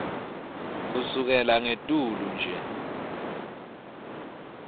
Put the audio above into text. kusukela ngetulu nje